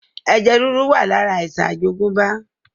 Ẹ̀jẹ̀ ríru wá lára àìsàn àjogúnbá